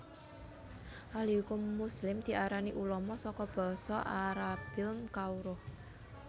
Ahli Hukum Muslim diarani ulama saka basa Arabilm kawruh